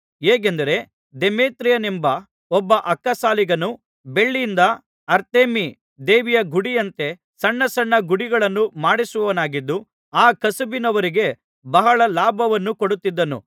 ಹೇಗೆಂದರೆ ದೇಮೇತ್ರಿಯನೆಂಬ ಒಬ್ಬ ಅಕ್ಕಸಾಲಿಗನು ಬೆಳ್ಳಿಯಿಂದ ಅರ್ತೆಮೀ ದೇವಿಯ ಗುಡಿಯಂತೆ ಸಣ್ಣಸಣ್ಣ ಗುಡಿಗಳನ್ನು ಮಾಡಿಸುವವನಾಗಿದ್ದು ಆ ಕಸುಬಿನವರಿಗೆ ಬಹಳ ಲಾಭವನ್ನು ಕೊಡುತ್ತಿದ್ದನು